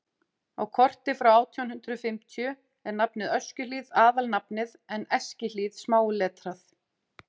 á korti frá átján hundrað fimmtíu er nafnið öskjuhlíð aðalnafnið en eskihlíð smáletrað